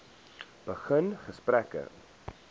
begin gesprekke